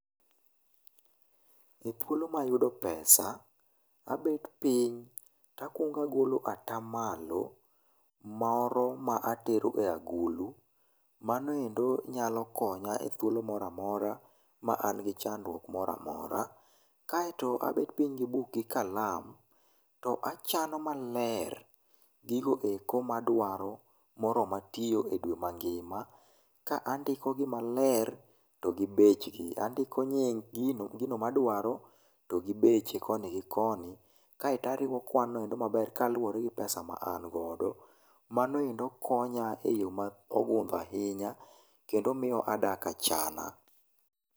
E thuolo mayudo pesa, abet pinytakwonga golo atamalo moro ma atero e agulu. Manoendo nyalo konya e thuolo moramora ma an gi chandruok moramora. Kae to abet piny gi buk gi kalam to achano maler gigoeko madwaro moroma tio e dwe mangima, ka andikogi maler to gibechgi, andiko nying gino gino madwaro togi beche koni gi koni, kae tariwo kwanoendo maber kaluwore gi pesa ma an godo. Manoendo konya e yoo ma ogundho ahinya kendo mio adak achana.